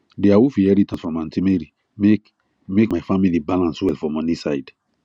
the awoof inheritance from aunt mary make make my family balance well for money side